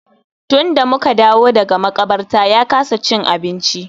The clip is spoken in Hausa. Tun da mu ka dawo daga maƙabarta ya kasa cin abinci.